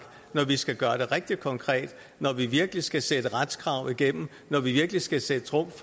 når vi skal gøre det rigtig konkret når vi virkelig skal sætte retskrav igennem når vi virkelig skal sætte trumf